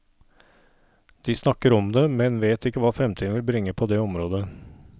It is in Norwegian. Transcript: De snakker om det, men vet ikke hva fremtiden vil bringe på det området.